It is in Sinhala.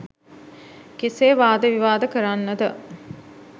කෙසේ වාද විවාද කරන්නද?